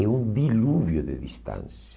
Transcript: É um dilúvio de distância.